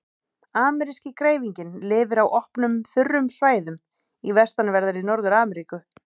Ameríski greifinginn lifir á opnum, þurrum svæðum í vestanverðri Norður-Ameríku.